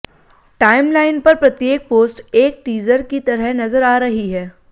timeline पर प्रत्येक post एक टीजर की तरह नजर आ रही है